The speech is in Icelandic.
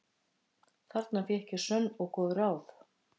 Þarna fékk ég sönn og góð ráð.